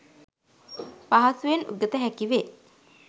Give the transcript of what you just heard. පහසුවෙන් උගත හැකි වේ.